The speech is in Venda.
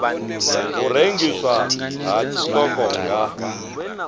u rengiswa ha tshiṱoko nga